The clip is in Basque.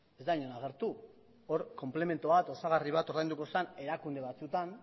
ez da inon agertu hor konplementoa eta osagarri bat ordainduko zen erakunde batzuetan